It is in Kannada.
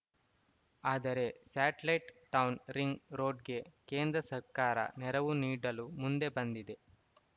ಆದರೆ ಸ್ಯಾಟ್‌ಲೈಟ್‌ ಟೌನ್‌ ರಿಂಗ್‌ ರೋಡ್‌ಗೆ ಕೇಂದ್ರ ಸರ್ಕಾರ ನೆರವು ನೀಡಲು ಮುಂದೆ ಬಂದಿದೆ